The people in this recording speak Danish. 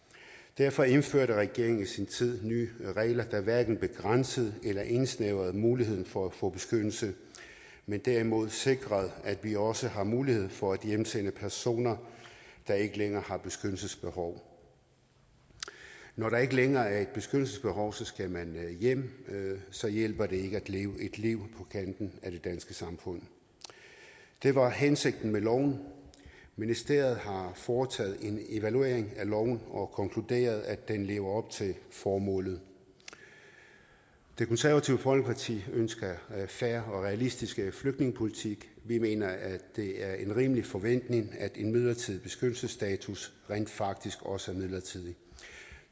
derfor indførte regeringen i sin tid nye regler der hverken begrænsede eller indsnævrede muligheden for at få beskyttelse men derimod sikrede at vi også har mulighed for at hjemsende personer der ikke længere har et beskyttelsesbehov når der ikke længere er et beskyttelsesbehov skal man hjem så hjælper det ikke at leve et liv på kanten af det danske samfund det var hensigten med loven ministeriet har foretaget en evaluering af loven og konkluderet at den lever op til formålet det konservative folkeparti ønsker fair og realistisk flygtningepolitik vi mener at det er en rimelig forventning at en midlertidig beskyttelsesstatus rent faktisk også er midlertidig